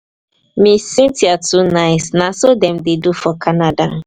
ms. cynthia too nice. na so dem dey do for canada.